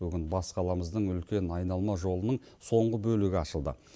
бүгін бас қаламыздың үлкен айналма жолының соңғы бөлігі ашылды